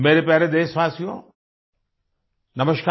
मेरे प्यारे देशवासियो नमस्कार